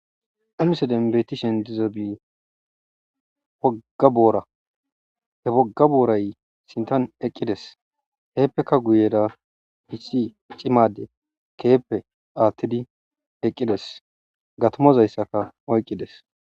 Ha missilen betishe dizaysi woga bora he woga boray sintan eqides hepeka guyera issi c'ima adey kehipe hakidi eqides gatimazaysaka oyqides.